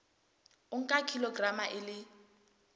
o nka kilograma e le